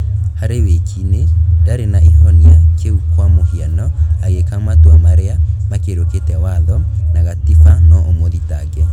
"harĩ wĩki-inĩ ndarĩ na ĩhonia kĩu kwa mũhiano agĩka matua marĩa makĩrũkĩte watho na gatiba no ũmũthitange